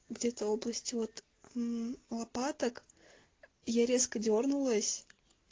где-то области вот мм лопаток я резко дёрнулась